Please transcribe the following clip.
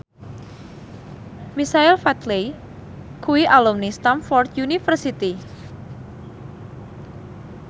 Michael Flatley kuwi alumni Stamford University